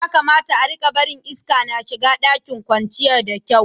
Ya kamata a'rika barin iska ya shiga ɗakin kwanciyar da kyau.